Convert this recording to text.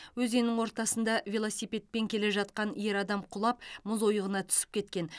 өзеннің ортасында велосипедпен келе жатқан ер адам құлап мұз ойығына түсіп кеткен